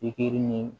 Pikiri ni